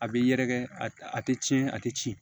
A bɛ yɛrɛkɛ a tɛ tiɲɛ a tɛ tiɲɛ